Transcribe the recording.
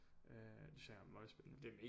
Øh det synes jeg er møgspændende